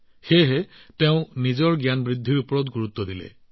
এনে পৰিস্থিতিত তেওঁ নিজৰ জ্ঞান বৃদ্ধিত মনোনিৱেশ কৰিছিল